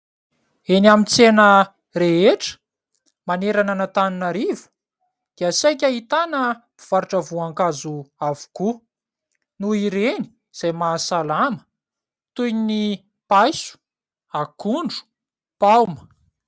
Eny amin' ny tsena rehetra manerana an'Antananarivo dia saika ahitana mpivarotra voankazo avokoa, noho ireny izay mahasalama toy ny: paiso, akondro, paoma.